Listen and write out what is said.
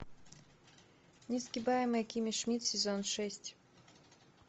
несгибаемая кимми шмидт сезон шесть